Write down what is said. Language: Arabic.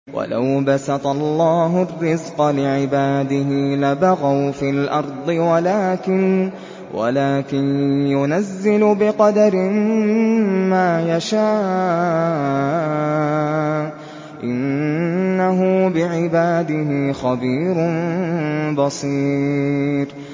۞ وَلَوْ بَسَطَ اللَّهُ الرِّزْقَ لِعِبَادِهِ لَبَغَوْا فِي الْأَرْضِ وَلَٰكِن يُنَزِّلُ بِقَدَرٍ مَّا يَشَاءُ ۚ إِنَّهُ بِعِبَادِهِ خَبِيرٌ بَصِيرٌ